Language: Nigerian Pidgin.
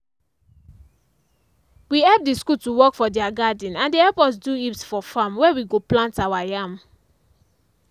we help the school to work for their garden and they help us do heaps for farm where we go plant our yam.